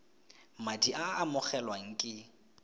madi a a amogelwang ke